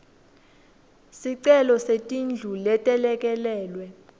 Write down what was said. sicelo setindlu letelekelelwe